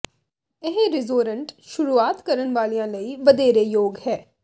ਇਹ ਰਿਜੋਰੰਟ ਸ਼ੁਰੂਆਤ ਕਰਨ ਵਾਲਿਆਂ ਲਈ ਵਧੇਰੇ ਯੋਗ ਹੈ